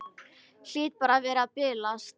Hlýt bara að vera að bilast.